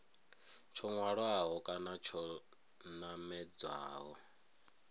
tsho hwalaho kana tsho namedzaho